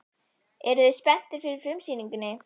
Eruð þið spenntir fyrir frumsýningunni?